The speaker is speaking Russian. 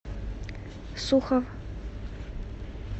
сухов